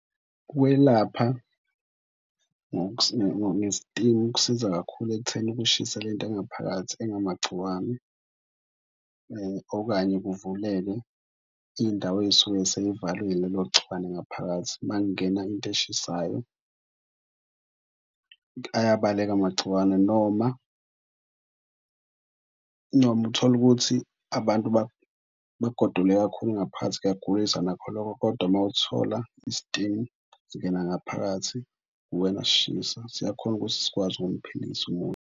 Ukwelapha ngestimu kusiza kakhulu ekutheni ukushisa le nto engaphakathi engamagciwane okanye kuvuleke iy'ndawo ey'suke seyivaliwe ilelo gciwane ngaphakathi, makungena into eshisayo ayabaleka amagciwane. Noma noma utholukuthi abantu bagodole kakhulu ngaphathi kuyagulisa nakho lokho kodwa mawuthola istimu singena ngaphakathi kuwena, sishisa siyakhona ukuthi sikwazi ukumphilisa umuntu.